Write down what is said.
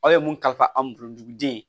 Aw ye mun kalifa an bolo duguden